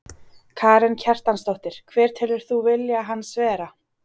Karen Kjartansdóttir: Hver telur þú vilja hans vera?